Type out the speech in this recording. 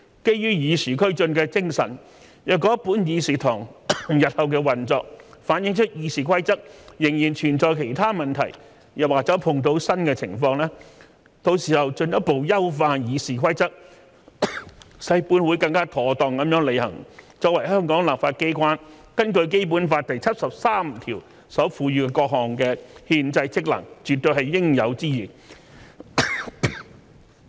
基於與時俱進的精神，若本議事堂日後的運作反映出《議事規則》仍然存在其他問題，又或者碰到新的情況，到時候進一步優化《議事規則》，使本會更妥當地履行作為香港立法機關根據《基本法》第七十三條所賦予的各項憲制職能，絕對是應有之義。